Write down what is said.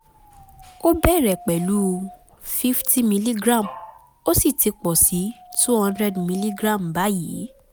ó bẹ̀rẹ̀ pẹ̀lú fifty miligram ó sì ti pọ̀ sí two hundred miligram báyìí